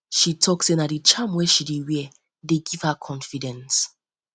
she tok sey na di charm wey she dey wear dey give her confidence